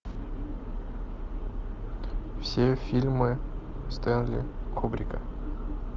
все фильмы стэнли кубрика